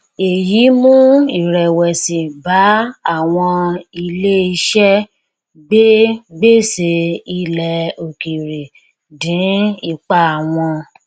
èyí mú irèwèsì bá àwọn ilé iṣẹ gbè gbèsè ilẹ òkèèrè dín ipa wọn